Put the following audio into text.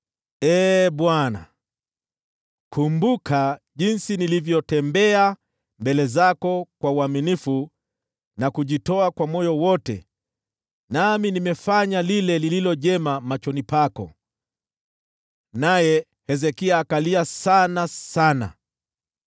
“Ee Bwana , kumbuka jinsi nilivyoenenda mbele zako kwa uaminifu na kujitoa kwa moyo wangu wote, na kufanya yaliyo mema machoni pako.” Naye Hezekia akalia kwa uchungu.